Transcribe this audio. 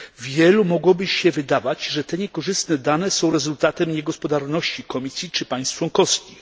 Wielu mogłoby się wydawać, że te niekorzystne dane są rezultatem niegospodarności Komisji czy państw członkowskich.